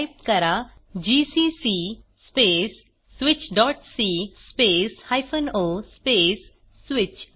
type करा GCC space switchसी space o space switch